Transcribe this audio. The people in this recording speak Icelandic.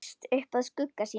Leggst upp að skugga sínum.